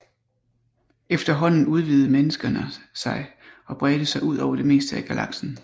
Efterhånden udvidede menneskerne sig og bredte sig ud over det meste af galaksen